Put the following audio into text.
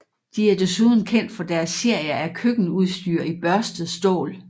De er desuden kendt for deres serie af køkkenudstyr i børstet stål